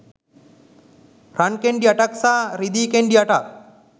රන් කෙණ්ඩි අටක් සහ රිදී කෙණ්ඩි අටක්